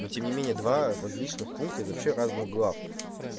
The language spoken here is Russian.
ну тем не менее два различных пункта из вообще разных глав